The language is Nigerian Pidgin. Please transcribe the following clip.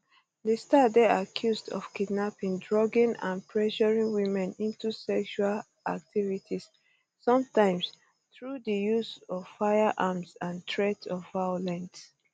di star dey accused of kidnapping drugging and pressuring women into sexual um activities sometimes through di use of firearms and threats of violence